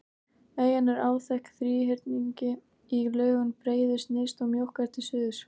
Eyjan er áþekk þríhyrningi í lögun, breiðust nyrst og mjókkar til suðurs.